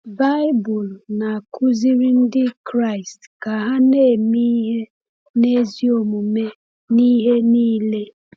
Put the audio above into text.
Baịbụl na-akuziri Ndị Kraịst ka ha na-eme ihe n’ezi omume n’ihe niile.